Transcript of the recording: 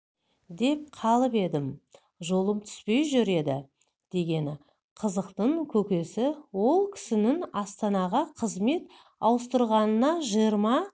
деп қалып едім жолым түспей жүр еді дегені қызықтың көкесі ол кісінің астанаға қызмет ауыстырғанына жиырма